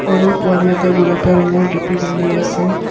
সৰু পোৱালী এটাই গুলপীয়া ৰঙৰ টুপী পিন্ধি আছে।